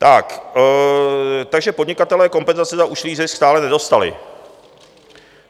Takže podnikatelé kompenzace za ušlý zisk stále nedostali.